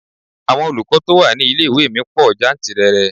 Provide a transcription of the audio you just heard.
Àwọn olùkọ́ tó wà ní ilé-ìwé mi pò jantìrẹrẹ.